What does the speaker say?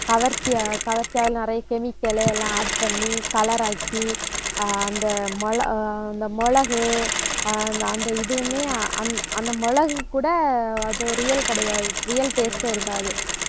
கவர்ச்சியா, கவர்ச்சியா நிறைய chemical எல்லாம் add பண்ணி, color ஆக்கி, ஆஹ் அந்த மிள~ அந்த மிளகு, ஆஹ் அ~ அந்த இதுவுமே அ~ அந்த மிளகு கூட அது real கிடையாது. real taste ஏ இருக்காது